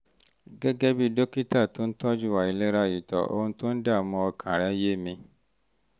gẹ́gẹ́ bí dókítà tó ń tọ́jú àìlera ìtọ̀ ohun tó ń dààmú ọkàn rẹ́ yé mi